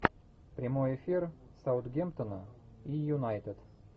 прямой эфир саутгемптона и юнайтед